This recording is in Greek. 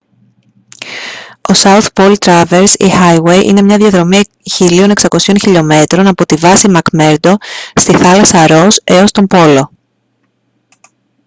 ο south pole traverse ή highway είναι μια διαδρομή 1600 χλμ από τη βάση μακμέρντο στη θάλασσα ρος έως τον πόλο